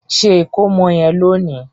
Ṣe ikomo yen lóni!